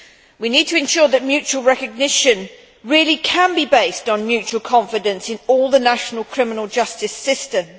We need to ensure that mutual recognition really can be based on mutual confidence in all the national criminal justice systems.